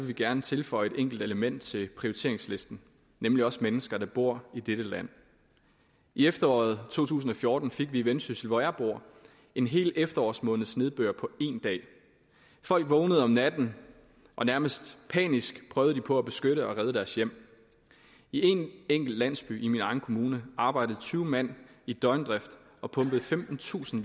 vi gerne tilføje et enkelt element til prioriteringslisten nemlig os mennesker der bor i dette land i efteråret to tusind og fjorten fik vi i vendsyssel hvor jeg bor en helt efterårsmåneds nedbør på én dag folk vågnede om natten og nærmest panisk prøvede de på at beskytte og redde deres hjem i en enkelt landsby i min egen kommune arbejdede tyve mand i døgndrift og pumpede femtentusind